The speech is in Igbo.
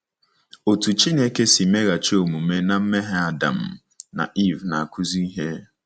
Otú Chineke si meghachi omume ná mmehie Adam na Eve na-akụzi ihe.